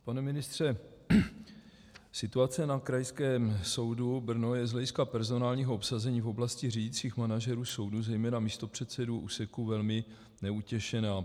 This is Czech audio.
Pane ministře, situace na Krajském soudu Brno je z hlediska personálního obsazení v oblasti řídících manažerů soudů, zejména místopředsedů úseků, velmi neutěšená.